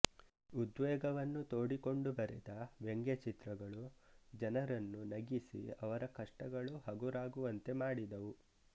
ಉದ್ವೇಗವನ್ನು ತೋಡಿಕೊಂಡು ಬರೆದ ವ್ಯಂಗ್ಯಚಿತ್ರಗಳು ಜನರನ್ನು ನಗಿಸಿ ಅವರ ಕಷ್ಟಗಳು ಹಗುರವಾಗುವಂತೆ ಮಾಡಿದವು